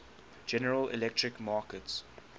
general electric markets